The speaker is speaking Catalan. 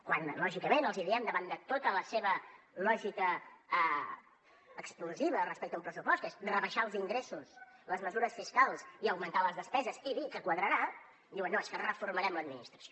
quan lògicament els diem davant de tota la seva lògica explosiva respecte a un pressupost que és rebaixar els ingressos les mesures fiscals i augmentar les despeses i dir que quadrarà diuen no és que reformarem l’administració